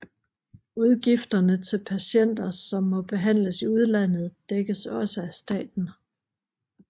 Udgifterne til patienter som må behandles i udlandet dækkes også af staten